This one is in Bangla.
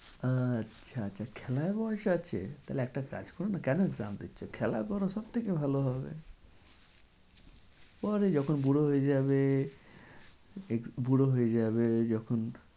আচ্ছা আচ্ছা খেলার বয়স আছে? তাহলে একটা কাজ করো না কেন exam দিচ্ছো খেলা করো সব থেকে ভালো হবে। পরে যখন বুড়ো হয়ে যাবে বুড়ো হয়ে যাবে যখন